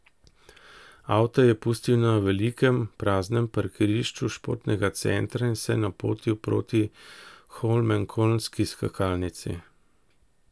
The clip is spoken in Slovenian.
Avto je pustil na velikem, praznem parkirišču športnega centra in se napotil proti holmenkollnski skakalnici.